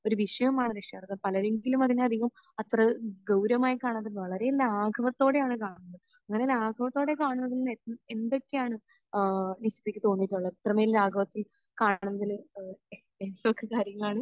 ഒരു വിഷയമാണ് രക്ഷാകർത്വം. അത് പലരെങ്കിലും അതിന് അധികം അത്ര ഗൗരവമായി കാണാതെ വളരെ ലാഘവത്തോടെയാണ് കാണുന്നത്. അങ്ങനെ ലാഘവത്തോടെ കാണുന്ന എന്തൊക്കെയാണ് നിഷിദക്ക് തോന്നിയിട്ടുള്ളത്? ഇത്രമേൽ ലാഘവത്തിൽ കാണുന്നത് എന്തൊക്കെ കാര്യങ്ങളാണ്?